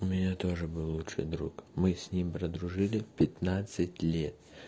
у меня тоже был лучший друг мы с ним прожили пятнадцать лет